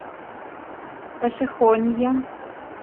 пошехонье